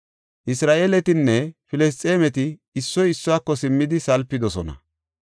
Isra7eeletinne Filisxeemeti issoy issuwako simmidi salpidosona.